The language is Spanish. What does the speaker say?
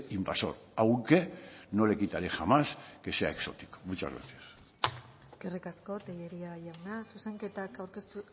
invasor aunque no le quitaré jamás que sea exótico muchas gracias eskerrik asko tellería jauna zuzenketak aurkeztu